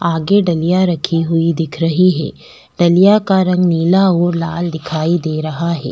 आगे डलिया रखी हुई दिख रही है डलिया का रंग नीला और लाल दिखाई दे रहा है।